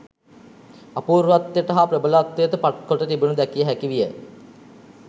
අපූර්වත්වයට හා ප්‍රබලත්වයට පත් කොට තිබෙනු දැකිය හැකි විය